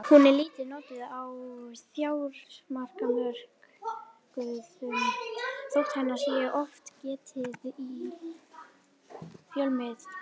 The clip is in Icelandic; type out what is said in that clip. Hún er lítið notuð á fjármálamörkuðum þótt hennar sé oft getið í fjölmiðlum.